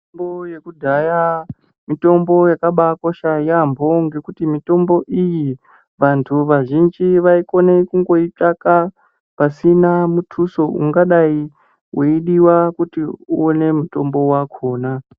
Mitombo yekudhaya mitombo yakakosha yaemho ngekuti mitombo iyi vantu vazhinji vaikona kundoitsvaka pasina mutuso ungadai weidiwa kuti uone mutombo wakhona.